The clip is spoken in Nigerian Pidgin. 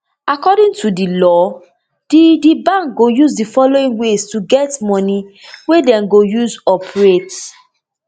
according to di law di di bank go use di following ways to get moni wey dem go use operate